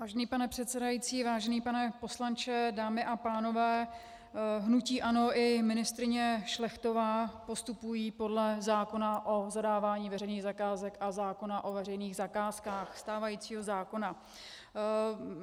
Vážený pane předsedající, vážený pane poslanče, dámy a pánové, hnutí ANO i ministryně Šlechtová postupují podle zákona o zadávání veřejných zakázek a zákona o veřejných zakázkách, stávajícího zákona.